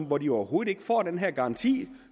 hvor de overhovedet ikke får den her garanti